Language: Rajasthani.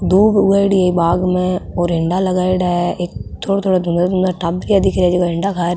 दूब उगाइड़ी है बाग़ में और हिण्डा लगायेड़ा है एक थोड़ो थोड़ो धुंधला धुंधला टाबरिया दिख रिया जको हिण्डा खा --